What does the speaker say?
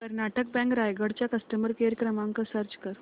Karnataka bank Raigad चा customer care क्रमांक search कर